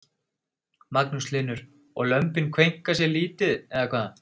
Magnús Hlynur: Og lömbin kveinka sér lítið eða hvað?